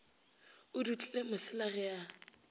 a dutile mosela ge a